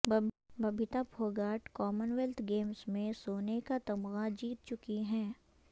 Babita Phogat commonwealth games میں سونے کا تمغہ جیت چکی ہیں